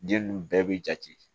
Den nunnu bɛɛ bi jate